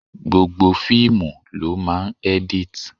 Gbogbo fíìmù ló máa ń edit.